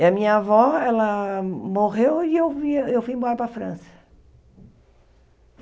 E a minha avó, ela morreu e eu via eu fui embora para a França.